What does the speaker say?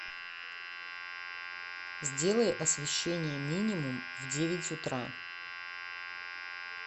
сделай освещение минимум в девять утра